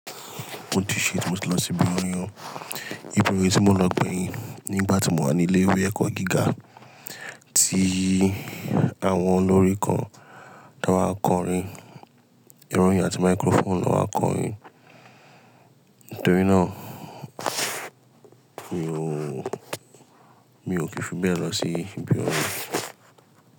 Mo ti ṣe ètò ibi oyún. Ibi oyún tí mo lọ gbẹ̀yìn nígbà tí mò wà ní ilé ìwé ẹ̀kọ́ gíga ti àwọn olórín kan tó wá kọrin, ìròyìn àti microphone ló wá kọrin. Nítorí náà mi ò kí fi bẹ́ẹ̀ lọ sí ibi orij.